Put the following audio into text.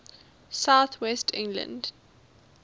south west england